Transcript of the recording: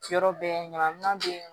Yɔrɔ bɛɛ ɲanaman be yen